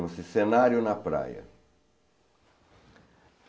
Chama-se cenário na praia.